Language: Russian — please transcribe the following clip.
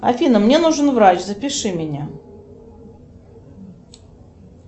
афина мне нужен врач запиши меня